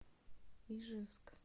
ижевск